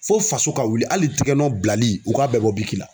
Fo faso ka wuli hali tigɛnɔ bilali u k'a bɛɛ bɔ biki la